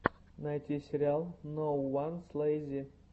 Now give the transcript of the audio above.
найти сериал ноууанслэйзи